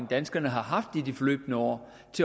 danskerne har haft i de forløbne år